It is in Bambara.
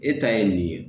E ta ye nin ye